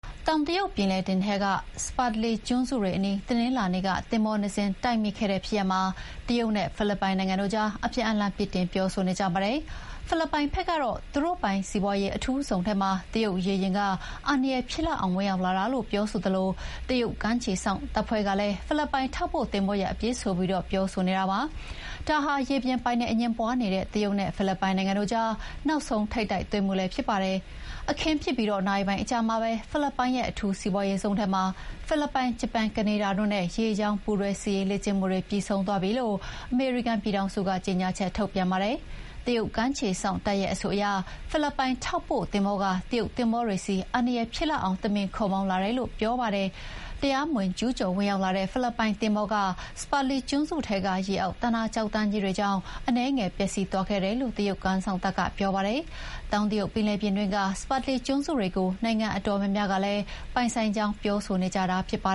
တောင်တရုတ်ပင်လယ်ပြင်ထဲက Spratly ကျွန်းစုတွေအနီး တနင်္လာနေ့က သင်္ဘောနှစ်စင်း တိုက်မိခဲ့တဲ့ဖြစ်ရပ်မှာ တရုတ်နဲ့ဖိလစ်ပိုင်တို့ အပြန်အလှန်ပြစ်တင်ပြောဆိုနေကြပါတယ်။ ဖိလစ်ပိုင်ဘက်ကတော့ သူတို့ပိုင်စီးပွါးရေးအထူးဇုံထဲမှာ တရုတ်ရေယာဥ်က အန္တရာယ်ဖြစ်လောက်အောင် ဝင်ရောက်လာတာလို့ ပြောသလို တရုတ်ကမ်းခြေစောင့်တပ်ဖွဲ့ကလည်း ဖိလစ်ပိုင်ထောက်ပို့ သင်္ဘောရဲ့ အပြစ်ဆိုပြီး ပြောဆိုနေတာပါ။ ဒါဟာ ရေပြင်ပိုင်နက်အငြင်းပွါးနေတဲ့တရုတ်နဲ့ဖိလစ်ပိုင်တို့ကြား နောက်ဆုံးထိပ်တိုက်တွေ့မှု ဖြစ်ပါတယ်။ အခင်းဖြစ်ပြီးနာရီပိုင်းအကြာမှာပဲ ဖိလစ်ပိုင်ရဲ့အထူးစီးပွါးရေးဇုံထဲမှာ ဖိလစ်ပိုင်၊ ဂျပန်၊ ကနေဒါတို့ရဲ့ ရေကြောင်းပူးတွဲစစ်ရေးလေ့ကျင့်မှုတွေ ပြီးဆုံးသွားပြီလို့ အမေရိကန်ပြည်ထောင်စုက ကြေညာချက်ထုတ်ပြန်ပါတယ်။ တရုတ်ကမ်းခြေစောင့်တပ်ရဲ့အဆိုအရ ဖိလစ်ပိုင်ထောက်ပို့သင်္ဘောက တရုတ်သင်္ဘောတွေဆီ အန္တရာယ်ဖြစ်လောက်အောင် တမင် ခုတ်မောင်းလာတယ်လို့ပြောပါတယ်။ တရားမဝင် ကျူးကျော်ဝင်ရောက်လာတဲ့ ဖိလစ်ပိုင်သင်္ဘောက Spratly ကျွန်းစုထဲက ရေအောက် သန္တာကျောက်တန်းတွေကြောင့် အနည်းငယ်ပျက်စီးသွားခဲ့တယ်လို့ တရုတ်ကမ်းစောင့်တပ်က ပြောပါတယ်။ တောင်တရုတ်ပင်လယ်ပြင်တွင်းက Spratly ကျွန်းစုတွေကို နိုင်ငံအတော်များများက ပိုင်ဆိုင်ကြောင်းပြောဆိုနေကြတာပါ